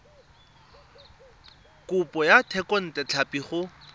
kopo ya thekontle tlhapi go